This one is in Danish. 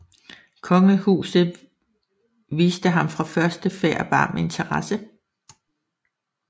Kongehuset viste ham fra første færd varm interesse